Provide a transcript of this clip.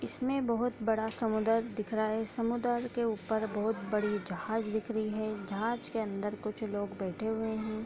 इसमें बहोत बड़ा समुद्र दिख रहा है समुद्र के ऊपर बहोत बड़ी जहाज दिख रही है जहाज के अंदर कुछ लोग बैठे हए हैं।